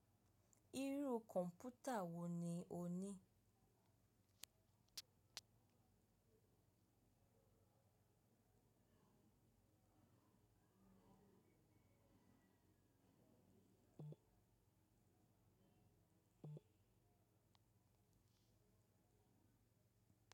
Irú kọ̀mpútà wo ni o ní?